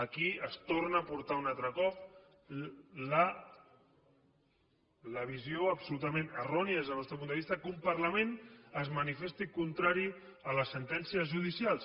aquí es torna a portar un altre cop la visió absolutament errònia des del nostre punt de vista que un parlament es manifesti contrari a les sentències judicials